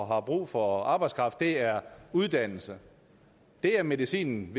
har brug for arbejdskraft er uddannelse det er medicinen